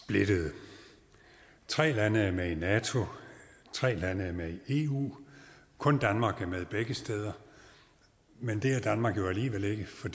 splittede tre lande er med i nato tre lande er med i eu kun danmark er med begge steder men det er danmark jo alligevel ikke for